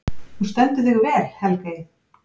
Þú stendur þig vel, Helgey!